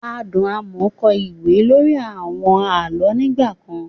Adùn Amoo kọ ìwé lórí àwọn àlọ́ nígbà kan.